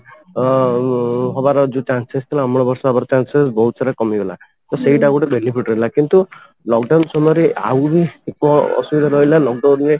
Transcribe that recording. ତ ଉମ ହବାର ଯୋଉ chances ଥିଲା ଅମ୍ଳ ବର୍ଷା ହେବାର chances ବହୁତ ସାରା କମିଗଲା ତ ସେଇଟା ଆଉ ଗୋଟେ benefit ରହିଲା କିନ୍ତୁ lock down ସମୟରେ ଆହୁରି ଅସୁବିଧା ରହିଲା lock down ରେ